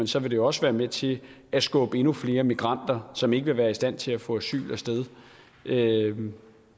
så vil det jo også være med til at skubbe endnu flere migranter som ikke vil være i stand til at få asyl afsted